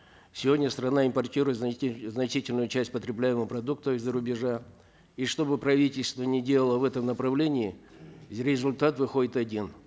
сегодня страна импортирует значительную часть потребляемых продуктов из за рубежа и чтобы правительство ни делало в этом направлении результат выходит один